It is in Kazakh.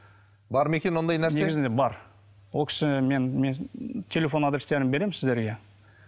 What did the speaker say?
бар ма екен ондай нәрсе негізінде бар ол кісі мен мен телефон адрестерін беремін сіздерге